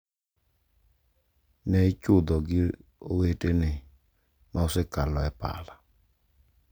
Ne ichudho gi owetene ma osekalo e pala,